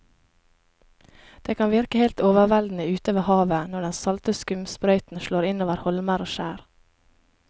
Det kan virke helt overveldende ute ved havet når den salte skumsprøyten slår innover holmer og skjær.